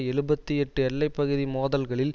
எழுபத்தி எட்டு எல்லை பகுதி மோதல்களில்